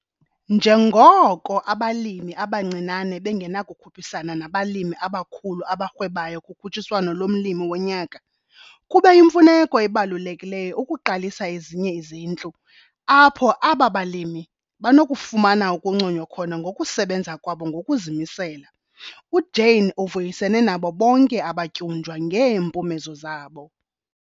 Njengoko abalimi abancinane bengenakukhuphisana nabalimi abakhulu abarhwebayo kukhutshiswano lomLimi woNyaka, kube yimfuneko ebelulekileyo ukuqalisa ezinye izintlu apho aba balimi banokufumana ukunconywa khona ngokusebenza kwabo ngokuzimisela. UJane uvuyisene nabo bonke abatyunjwa ngeempumezo zabo.